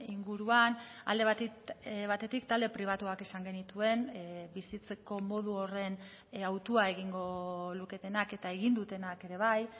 inguruan alde batetik talde pribatuak izan genituen bizitzeko modu horren autua egingo luketenak eta egin dutenak ere bai